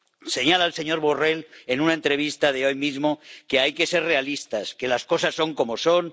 Señala el señor Borrell, en una entrevista de hoy mismo, que hay que ser realistas, que las cosas son como son.